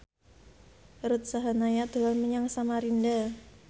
Ruth Sahanaya dolan menyang Samarinda